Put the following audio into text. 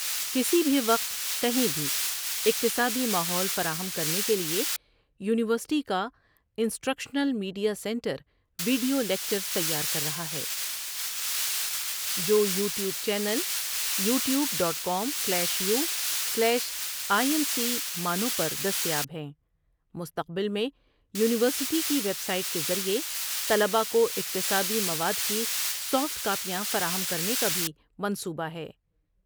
کسی بھی وقت، کہیں بھی اکتسابی ماحول فراہم کرنے کے لیے یونیورسٹی کا ’انسٹرکشنل میٹریا سنٹرویڑیو لکچرزتیار کر رہا ہے جویوٹیوب چینل پر دستیاب ہے۔